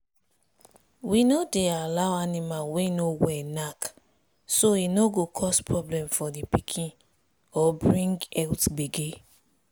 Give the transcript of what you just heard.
we no dey allow animal way no well knack so e no go cause problem for the piken or bring health gbege.